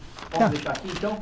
Posso deixar aqui então?